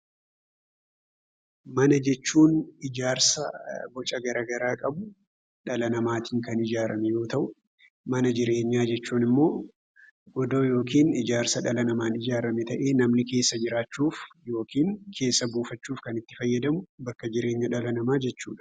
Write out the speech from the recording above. Mana jechuun ijaarsa boca garaa garaa qabu dhala namaatiin kan ijaarame yoo ta'u, mana jireenyaa hcejuun immoo godoo yookiin ijaarsa dhala namaaan ijaarame ta'ee namni keessa jiraachuuf yookiin keessa buufachuuf itti fayyadamu bakka jireenya dhala namaati.